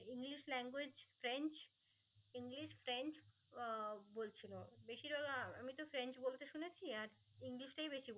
English language French English French আহ বলছিলো বেশির ভাগ আহ আমি তো ফ্রেন্স বলতে শুনেছি আর ইংলিশ টাই বেশি